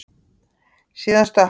Síðan stökk hann.